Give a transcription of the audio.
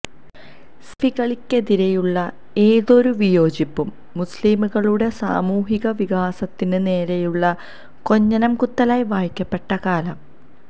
സലഫികള്ക്കെതിരെയുള്ള ഏതൊരു വിയോജിപ്പും മുസ്ലിംകളുടെ സാമൂഹിക വികാസത്തിന് നേരെയുള്ള കൊഞ്ഞനം കുത്തലായി വായിക്കപ്പെട്ട കാലം